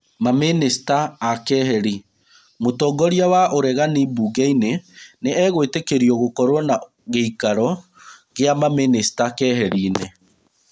Mamĩnĩcita akeheri. Mũtongoria wa ũregani mbungeinĩ nĩegwĩtĩkĩrio gũkorwo na gĩikaro gĩa mamĩnĩcita keheri-nĩ.